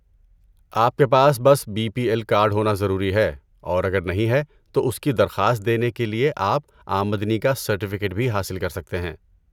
آپ کے پاس بس بی پی ایل کارڈ ہونا ضروری ہے اور اگر نہیں ہے تو اس کی درخواست دینے کے لیے آپ آمدنی کا سرٹیفیکیٹ بھی حاصل کر سکتے ہیں۔